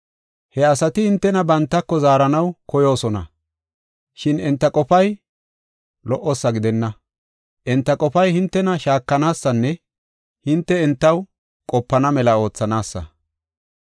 He asati hintena bantako zaaranaw koyoosona, shin enta qofay lo77osa gidenna. Enta qofay hintena shaakanaasanne hinte entaw qopana mela oothanaasa.